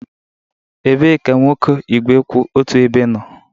Ebee ka nwoke igwe kwụ otu ebe nọ?